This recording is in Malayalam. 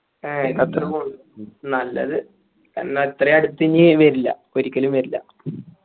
ആയ്യ് ഖത്തർ പോവണ്ട് നല്ലത് ന്ന ഇത്രയും അട്ത്ത് ഇനി വരില്ല ഒരിക്കലും വരില്ല